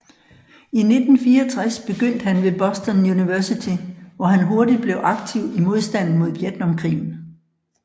I 1964 begyndte han ved Boston University hvor han hurtigt blev aktiv i modstanden mod Vietnamkrigen